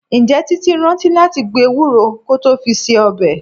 Ǹjẹ́ Títí rántí láti gbo Ewúro kó tó fi se ọbẹ̀?